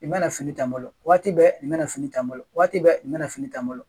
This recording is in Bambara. I mana fini taa n bolo waati bɛɛ nin mana fini taa bolo waati bɛɛ i mana fini taa n bolo